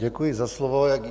Děkuji za slovo.